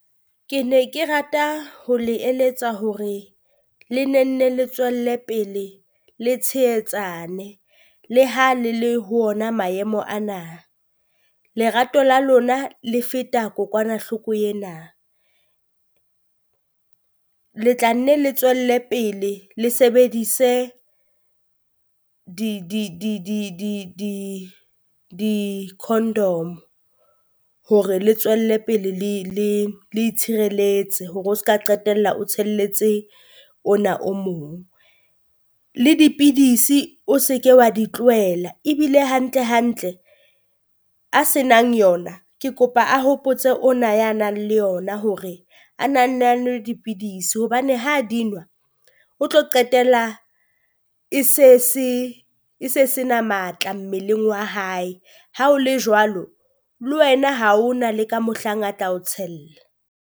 Ke ne ke rata ho le eletsa hore le ne nne le tswelle pele le tshehetsane, le ha le le ho ona maemo ana, lerato la lona le feta kokwanahloko ena. Le tla nne le tswelle pele le sebedise di condom hore le tswelle pele le le le itshireletse hore o se ka qetella o tshelletse ona o mong. Le dipidisi o se ke wa di tlohela ebile hantle hantle, a se nang yona ke kopa a hopotse ona ya nang le yona hore a na nne a nwe dipidisi, hobane ha di nwa o tlo qetell e se e se na matla mmeleng wa hae. Ha o le jwalo le wena ha ho na le ka mohlang a tla o tshella.